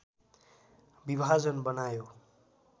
विभाजन बनायो